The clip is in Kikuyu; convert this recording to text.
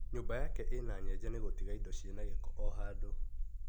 Nyũmba yake na nyenje nĩ gũtiga indo ciĩna gĩko o handũ.